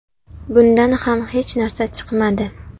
Bundan ham hech narsa chiqmadi.